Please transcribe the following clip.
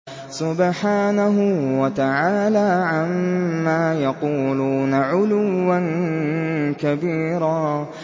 سُبْحَانَهُ وَتَعَالَىٰ عَمَّا يَقُولُونَ عُلُوًّا كَبِيرًا